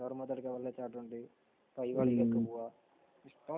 ഇഷ്ടംപോലെ